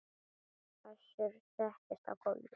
Össur settist á gólfið